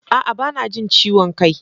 A'a! Ba na jin ciwon kai.